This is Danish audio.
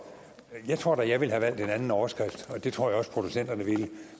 jeg tror da jeg ville have valgt en anden overskrift og det tror jeg også producenterne ville